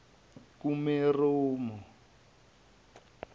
kumeromo